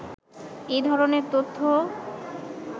এ ধরনের তথ্য